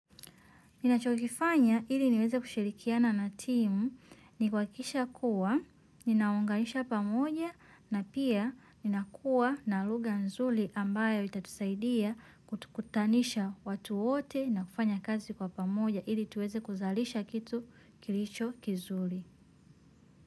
Ninachokifanya ili niweze kushirikiana na timu ni kuakikisha kuwa, ninaunganisha pamoja na pia ninakuwa na lugha nzuri ambayo itatusaidia kutanisha watu wote na kufanya kazi kwa pamoja ili tuweze kuzalisha kitu kilicho kizuri.